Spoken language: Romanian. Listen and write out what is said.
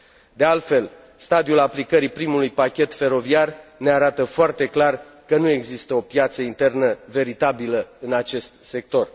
De altfel, stadiul aplicării primului pachet feroviar ne arată foarte clar că nu există o piață internă veritabilă în acest sector.